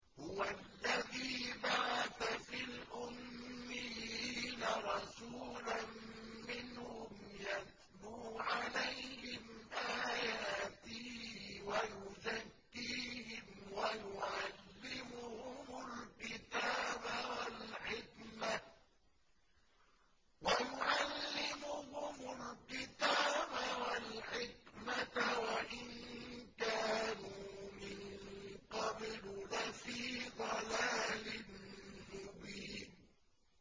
هُوَ الَّذِي بَعَثَ فِي الْأُمِّيِّينَ رَسُولًا مِّنْهُمْ يَتْلُو عَلَيْهِمْ آيَاتِهِ وَيُزَكِّيهِمْ وَيُعَلِّمُهُمُ الْكِتَابَ وَالْحِكْمَةَ وَإِن كَانُوا مِن قَبْلُ لَفِي ضَلَالٍ مُّبِينٍ